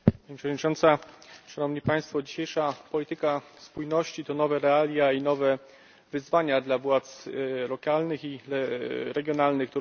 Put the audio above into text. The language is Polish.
Pani Przewodnicząca! Szanowni Państwo! Dzisiejsza polityka spójności to nowe realia i nowe wyzwania dla władz lokalnych i regionalnych.